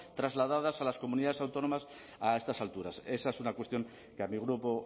trasladadas a las comunidades autónomas a estas alturas esa es una cuestión que a mi grupo